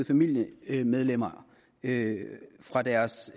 familiemedlemmer fra deres